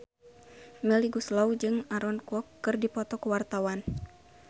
Melly Goeslaw jeung Aaron Kwok keur dipoto ku wartawan